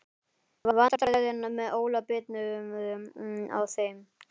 Vandræðin með Óla bitnuðu á þeim.